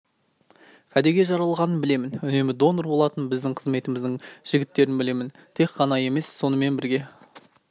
кәдеге жаралғаның білемін үнемі донор болатын біздің қызметіміздің жігіттерін білемін тек ғана емес сонымен бірге